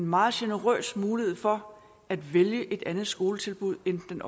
meget generøst en mulighed for at vælge et andet skoletilbud end den